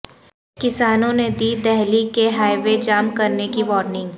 کسانوں نے دی دہلی کے ہائی وے جام کرنے کی وارننگ